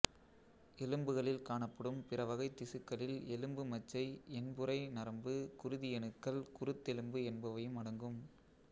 எலும்புகளில் காணப்படும் பிற வகைத் திசுக்களில் எலும்பு மச்சை என்புறை நரம்பு குருதியணுக்கள் குருத்தெலும்பு என்பவையும் அடங்கும்